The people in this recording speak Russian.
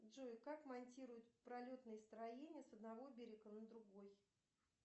джой как монтируют пролетные строения с одного берега на другой